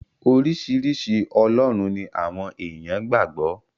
Oríṣiríṣi ọlọ́run ni àwọn èèyàn gbà gbọ́.